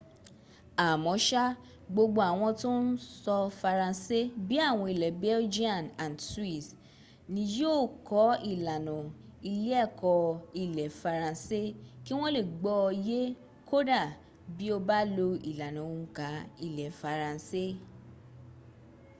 àmọ́sá gbogbo àwọn tó ń sọ faransé bí i àwọn ilẹ̀ belgian and swiss ni yí ò kọ́ ìlànà ilé ẹ̀kọ́ ilẹ̀ faransé kí wọ́n lè gbọ́ ọ yé kódà bí o bá lo ìlànà òǹkà ilẹ̀ faransé